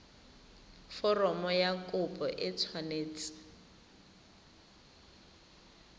foromo ya kopo e tshwanetse